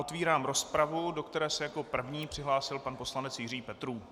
Otevírám rozpravu, do které se jako první přihlásil pan poslanec Jiří Petrů.